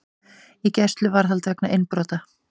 Í gæsluvarðhald vegna innbrota